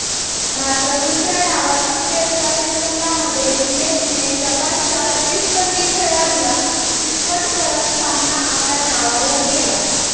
मात्र दुसऱ्या डावात अखेरच्या सेकंदांमध्ये विनेशने जपानच्या प्रतिस्पर्धी खेळाडूला चीतपट करत सामना आपल्या नावावर केला